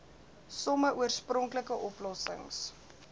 some oorspronklike oplossings